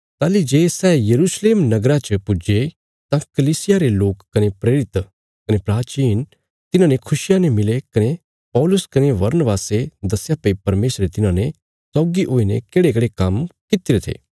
ताहली जे सै यरूशलेम नगरा च पुज्जे तां कलीसिया रे लोक कने प्रेरित कने प्राचीन तिन्हांने खुशिया ने मिले कने पौलुस कने बरनबासे दस्या भई परमेशरे तिन्हांने सौगी हुईने केढ़ेकेढ़े काम्म कित्तिरे थे